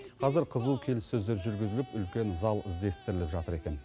қазір қызу келіссөздер жүргізіліп үлкен зал іздестіріліп жатыр екен